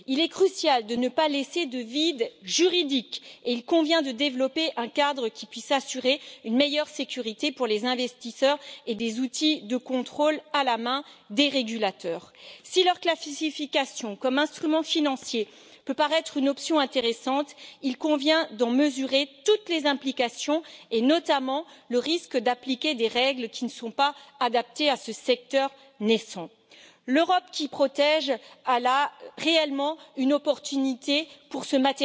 Il est crucial de ne pas laisser de vide juridique et il convient de développer un cadre qui puisse assurer une meilleure sécurité pour les investisseurs ainsi que des outils de contrôle aux mains des régulateurs. Si leur classification comme instrument financier peut paraître une option intéressante, il convient d'en mesurer toutes les implications et, notamment, le risque d'appliquer des règles inadaptées à ce secteur naissant. L'Europe qui protège dispose là d'une belle occasion de prendre